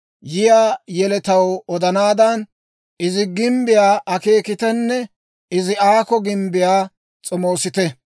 Yiyaa yeletaw odanaadan, izi gimbbiyaa akeekitenne izi aakko gimbbiyaa s'omoosite.